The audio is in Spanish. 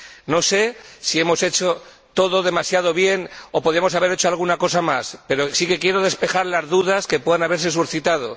No sé si hemos hecho todo demasiado bien o podíamos haber hecho alguna cosa más, pero sí que quiero despejar las dudas que puedan haberse suscitado.